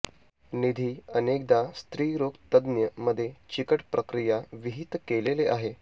निधी अनेकदा स्त्रीरोग तज्ञ मध्ये चिकट प्रक्रिया विहित केलेले आहेत